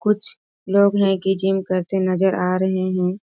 कुछ लोग हैं कि जिम करते नज़र आ रहे हैं।